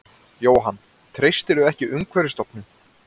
Jóhann: Treystirðu ekki Umhverfisstofnun?